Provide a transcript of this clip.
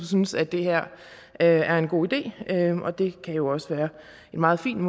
synes at det her er en god idé og det kan jo også være meget fint